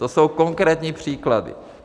To jsou konkrétní příklady.